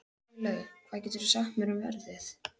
Freylaug, hvað geturðu sagt mér um veðrið?